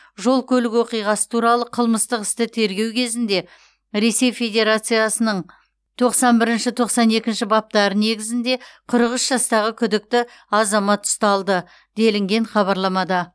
жол көлік оқиғасы туралы қылмыстық істі тергеу кезінде ресей федерациясының тоқсан бірінші тоқсан екінші баптары негізінде қырық үш жастағы күдікті азамат ұсталды делінген хабарламада